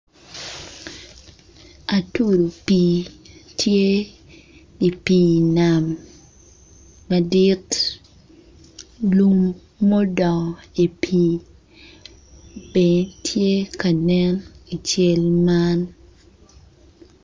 Atudu pii tye i pii nam madit lum mudongo i pii bene tye ka nen ical man